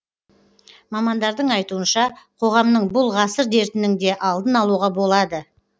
мамандардың айтуынша қоғамның бұл ғасыр дертінің де алдын алуға болады